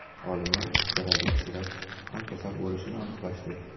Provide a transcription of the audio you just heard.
Olimlar istarali kishilar kam kasal bo‘lishini aniqlashdi.